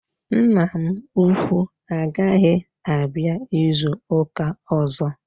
Nna m ukwuu agaghị abịa izu ụka ọzọ.